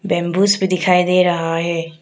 Bamboos भी दिखाई दे रहा है।